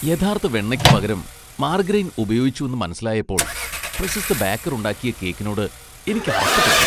യഥാർത്ഥ വെണ്ണയ്ക്ക് പകരം മാർഗരൈൻ ഉപയോഗിച്ചുവെന്ന് മനസിലായപ്പോൾ , പ്രശസ്ത ബേക്കർ ഉണ്ടാക്കിയ കേക്കിനോട് എനിക്ക് അറപ്പ് തോന്നി .